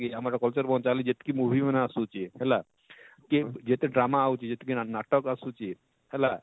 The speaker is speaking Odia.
ଆମର culture ବଞ୍ଚାବାର ଲାଗି ଯେତକି movie ମାନେ ଆସୁଛେ ହେଲା ଯେ ଯେତେ drama ଆଉଛେ ଯେତକି ନାଟକ ଆଉଛେ ହେଲା